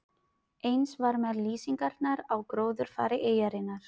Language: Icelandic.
Eins var með lýsingarnar á gróðurfari eyjarinnar.